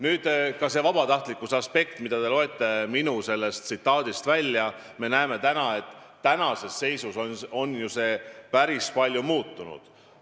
Nüüd, see vabatahtlikkuse aspekt, mille te minu sellest tsitaadist välja loete – me näeme, et tänases seisus on see ju päris palju muutunud.